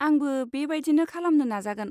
आंबो बे बायदिनो खालामनो नाजा।